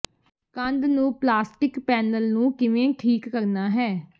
ਕੰਧ ਨੂੰ plastic panel ਨੂੰ ਕਿਵੇਂ ਠੀਕ ਕਰਨਾ ਹੈ